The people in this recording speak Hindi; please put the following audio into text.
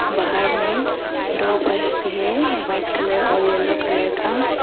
बाहर में दो बस भी है वाइट कलर और येलो कलर का।